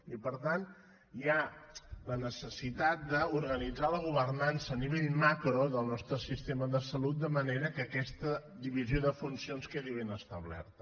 i per tant hi ha la necessitat d’organitzar la governança a nivell macro del nostre sistema de salut de manera que aquesta divisió de funcions quedi ben establerta